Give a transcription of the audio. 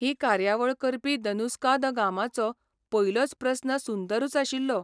ही कार्यावळ करपी दनुस्का द गामाचो पयलोच प्रस्न सुंदरूच आशिल्लो.